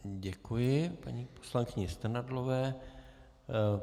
Děkuji paní poslankyni Strnadlové.